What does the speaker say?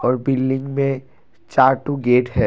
और बिल्डिंग में चार ठो गेट है।